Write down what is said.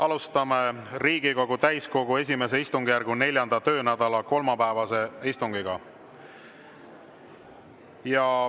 Alustame Riigikogu täiskogu I istungjärgu 4. töönädala kolmapäevast istungit.